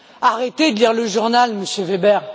Arrêtez de lire le journal, Monsieur Weber.